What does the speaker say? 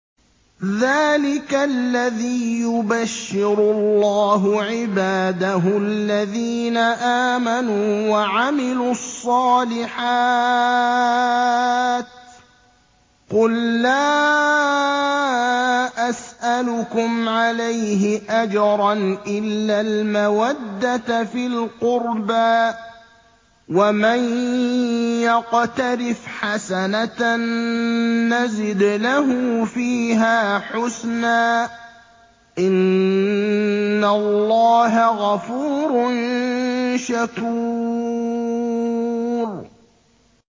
ذَٰلِكَ الَّذِي يُبَشِّرُ اللَّهُ عِبَادَهُ الَّذِينَ آمَنُوا وَعَمِلُوا الصَّالِحَاتِ ۗ قُل لَّا أَسْأَلُكُمْ عَلَيْهِ أَجْرًا إِلَّا الْمَوَدَّةَ فِي الْقُرْبَىٰ ۗ وَمَن يَقْتَرِفْ حَسَنَةً نَّزِدْ لَهُ فِيهَا حُسْنًا ۚ إِنَّ اللَّهَ غَفُورٌ شَكُورٌ